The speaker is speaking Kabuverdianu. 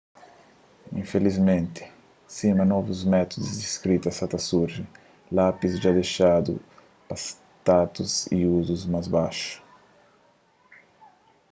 infilismenti sima novus métudus di skrita sa ta surji lápis dja dexadu pa status y uzus más baxu